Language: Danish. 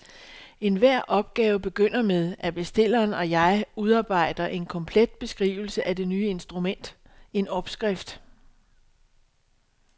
Enhver opgave begynder med, at bestilleren og jeg udarbejder en komplet beskrivelse af det nye instrument, en opskrift.